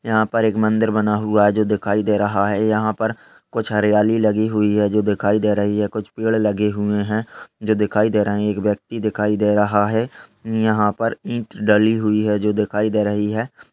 यहाँ पर एक मंदिर बना हुआ है जो दिखाई दे रहा है। यहाँ पर कुछ हरियाली लगी हुई है जो दिखाई दे रही है । कुछ पेड़ लगे हुए हैं जो दिखाई दे रहे हैं। एक व्यक्ति दिखाई दे रहा है । यहाँ पर ईंट डली हुई है जो दिखाई दे रही है।